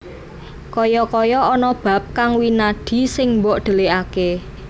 Kaya kaya ana bab kang winadi sing mbok dhelikaké